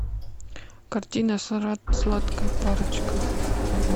картина сладкая парочка